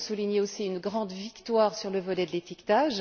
Il faut souligner aussi une grande victoire sur le volet de l'étiquetage.